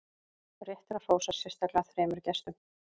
rétt er að hrósa sérstaklega þremur gestum